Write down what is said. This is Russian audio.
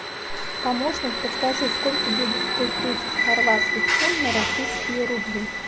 помощник подскажи сколько будет сто тридцать хорватских кун на российские рубли